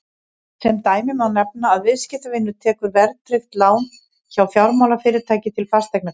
sem dæmi má nefna að viðskiptavinur tekur verðtryggt lán hjá fjármálafyrirtæki til fasteignakaupa